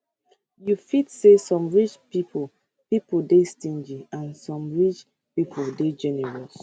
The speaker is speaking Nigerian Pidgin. you fit say some rich pipo pipo dey stingy and some rich pipo dey generous